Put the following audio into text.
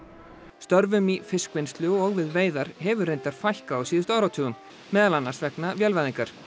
störfum í fiskvinnslu og við veiðar hefur reyndar fækkað á síðustu áratugum meðal annars vegna vélvæðingar